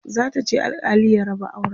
za ta je alkali ya raba auran